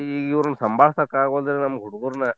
ಈ ಇವ್ರುನ್ ಸಂಬಾಳ್ಸಾಕ್ ಆಗೋದಿಲ್ಲ ಈ ಹುಡುಗರ್ನ.